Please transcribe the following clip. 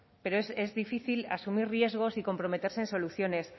pero es difícil asumir riesgos y comprometerse en soluciones